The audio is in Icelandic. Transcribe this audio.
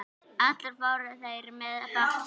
Allir fóru þeir með bátnum.